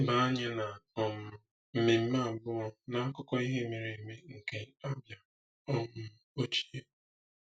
Leba anya na um mmemme abụọ n’akụkọ ihe mere eme nke Abia um ochie.